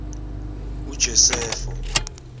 ujosefo